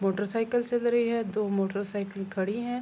Motor cycle چل رہی حیا دو موٹر سائیکل کھڈی ہے۔